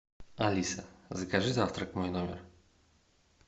алиса закажи завтрак в мой номер